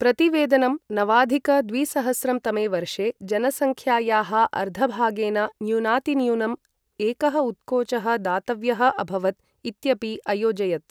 प्रतिवेदनं, नवाधिक द्विसहस्रं तमे वर्षे जनसङ्ख्यायाः अर्धभागेन न्यूनातिन्यूनम् एकः उत्कोचः दातव्यः अभवत् इत्यपि अयोजयत्।